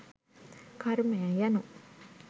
කර්මය යනු